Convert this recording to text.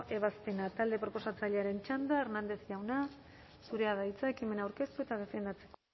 ebazpena talde proposatzailearen txanda hernández jauna zurea da hitza ekimena aurkeztu eta defendatzeko